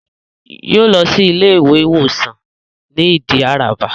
Yóò lọ sí Ilé ìwé ìwòsàn ní Ìdí Àràbà